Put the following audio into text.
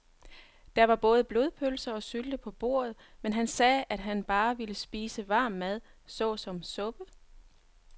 Der var både blodpølse og sylte på bordet, men han sagde, at han bare ville spise varm mad såsom suppe.